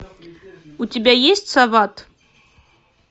у тебя есть сават